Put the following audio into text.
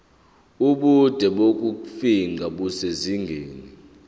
ubude bokufingqa kusezingeni